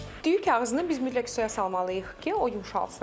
Düyü kağızını biz mütləq suya salmalıyıq ki, o yumşalsın.